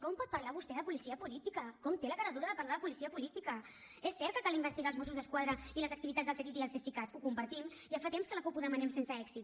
com pot parlar vostè de policia política com té la caradura de parlar de policia política és cert que cal investigar les activitats dels mossos d’esquadra i les activitats del ctti i el cesicat ho compartim ja fa temps que la cup ho demanem sense èxit